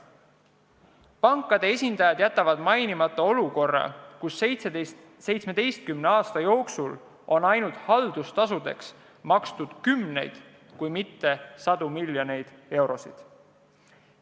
Pankade esindajad jätavad mainimata, et 17 aasta jooksul on ainult haldustasudeks makstud kümneid, kui mitte sadu miljoneid eurosid.